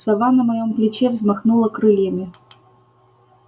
сова на моем плече взмахнула крыльями